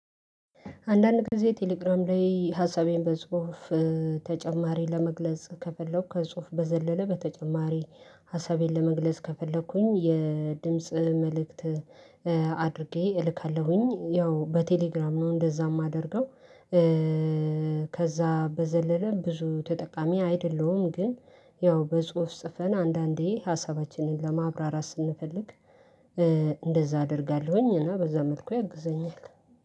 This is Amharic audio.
አንዳንድ ጊዜ ቴሌግራም ላይ ሀሳቤን በጽሁፍ ተጨማሪ ለመግለጽ ከፈለኩ ከጽሁፍ በዘለለ በተጨማሪ ሀሳቤን ለመግለጽ ከፈለኩኝ የድምጽ መልእክት አድርጌ እልካለሁኝ ያው በቴሌግራም ነው እንደዛ የማደርገው። ከዛ በዘለለ ብዙ ተጠቃሚ አይደለሁም ግን ያው በጽሁፍ ጽፈን አንዳንዴ ሀሳባችንን ለማብራራት ስንፈልግ። እንደዛ አደርጋለሁኝ እና በዛ መልኩ ያግዘኛል